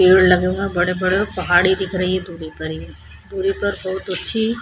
पेड़ लगे हुए है बड़े बड़े और पहाड़ी दिख रही है दूरी पर ही दूरी पर बहोत अच्छी --